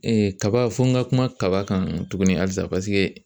kaba fo n ka kuma kaba kan tuguni halisa, paseke